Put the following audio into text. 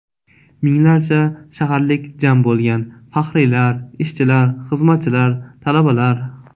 Minglarcha shaharlik jam bo‘lgan: faxriylar, ishchilar, xizmatchilar, talabalar.